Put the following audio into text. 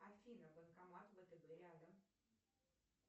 афина банкомат вэтэбэ рядом